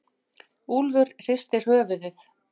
Úlfur hristir höfuðið.